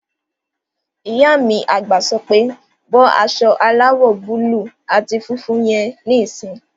Ìyá mi àgbà sọ pé "bọ́ aṣọ aláwọ̀ búúlù àti funfun yẹn níìsín!"